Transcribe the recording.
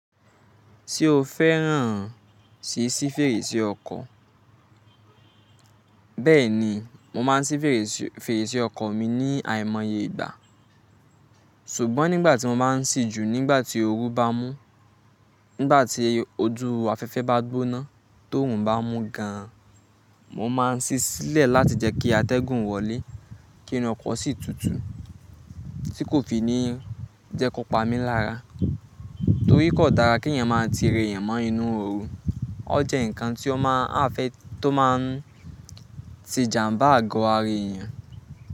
Ṣé o fẹ́ràn se sí fèrèsé ọkọ̀? Bẹ́ẹ̀ni, mo máa ń sí fèrèsé, fèrèsé ọkọ̀ mi ní àìmọye ìgbà. Ṣùgbọ́n nígbà tí mo bá ń sì ju, nígbà tí ooru bá mú, nígbà tí ojú afẹ́fẹ́ bá gbóná torun bá mú gan, mo máa ń sì sílẹ̀ láti jẹ́ kí atẹ́gùn wọlé, kí inú ọkọ̀ sì tutù, tí kò fi ní jẹ́ kó pa mí lára. Torí kò dára kí èèyàn máa ti rèèyàn mọ́ inú ooru. O Ó jẹ́ ǹkan tí ó máa ń affect, tó máa ń tìjàmbá àgọ́ ara èèyàn.